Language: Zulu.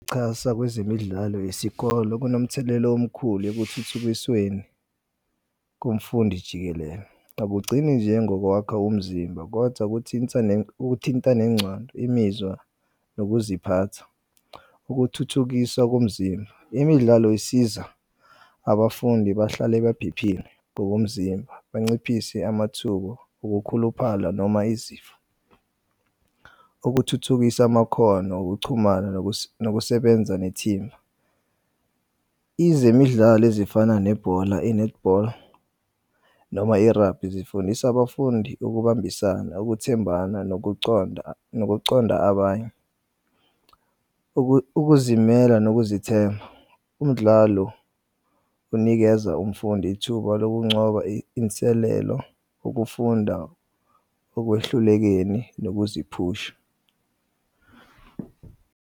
Qhaza kwezemidlalo yesikole kunomthelela omkhulu ekuthuthukisweni komfundi jikelele. Akugcini nje ngokwakha umzimba, kodwa kuthinta nengcondo, imizwa nokuziphatha, ukuthuthukisa komzimba. Imidlalo isiza abafundi bahlale baphephile ngokomzimba banciphise amathuba okukhuluphala noma izifo. Ukuthuthukisa amakhono okuchumana nokusebenza nethimba. Izemidlalo ezifana nebhola i-netball noma i-rugby zifundis'abafundi ukubambisana, ukuthembana nokuconda abanye, ukuzimela nokuzithemba. Umdlalo unikeza umfundi ithuba lokuncoba, inselelo, ukufunda okwehlulekeni nokuziphusha.